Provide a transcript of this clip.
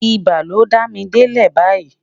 ibà ló dá mí delẹ bayii